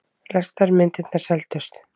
Flestar myndirnar seldust.